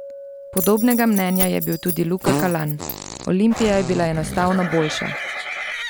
Podobnega mnenja je bil tudi Luka Kalan: "Olimpija je bila enostavno boljša.